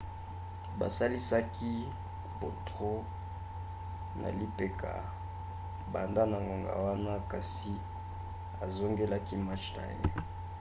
basalisaki potro na lipeka banda na ngonga wana kasi azongelaki match na ye